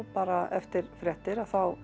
bara eftir fréttir